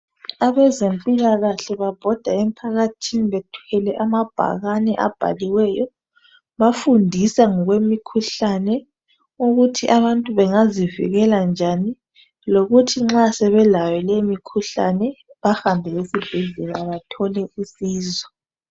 Abezempilakahle babhoda emphakathini bethwele amabhakane abhaliweyo. Bafundisa ngokwemikhuhlane ukuthi abantu bengazivikela njani lokuthi nxa sebelayo leyo mikhuhlane bahambe esibhedlela bathole usizo.